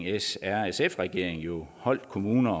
s r sf regering jo holdt kommuner